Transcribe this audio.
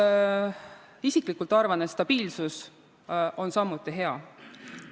Ma isiklikult arvan, et stabiilsus on samuti hea.